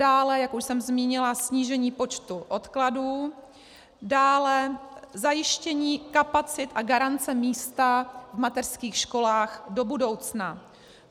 Dále, jak už jsem zmínila, snížení počtu odkladů, dále zajištění kapacit a garance místa v mateřských školách do budoucna.